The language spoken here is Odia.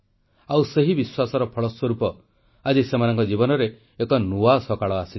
ଆଉ ସେହି ବିଶ୍ୱାସର ଫଳସ୍ୱରୂପ ଆଜି ସେମାନଙ୍କ ଜୀବନରେ ଏକ ନୂଆ ସକାଳ ଆସିଛି